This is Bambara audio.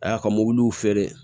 A y'a ka feere